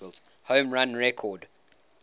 home run record